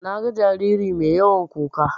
Naga jariri mai yawan kuka.